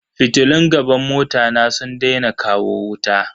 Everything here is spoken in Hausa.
Fitilun gaban mota na sun daina kawo wuta.